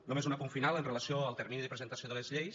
només un apunt final amb relació al termini de presentació de les lleis